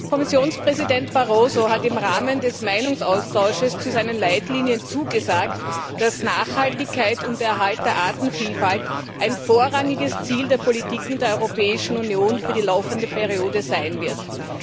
Herr Präsident! Kommissionspräsident Barroso hat im Rahmen des Meinungsaustauschs zu seinen Leitlinien zugesagt, dass Nachhaltigkeit und Erhalt der Artenvielfalt vorrangige Ziele der Politik in der Europäischen Union für die laufende Periode sein werden.